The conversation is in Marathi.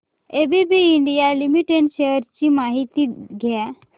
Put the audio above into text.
एबीबी इंडिया लिमिटेड शेअर्स ची माहिती द्या